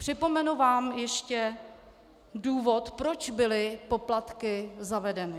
Připomenu vám ještě důvod, proč byly poplatky zavedeny.